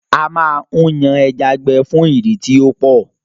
A máa ń yan ẹja gbẹ fún ìdí tí ọ́pọ̀